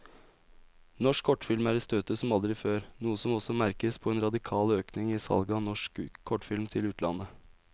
Norsk kortfilm er i støtet som aldri før, noe som også merkes på en radikal økning i salget av norsk kortfilm til utlandet.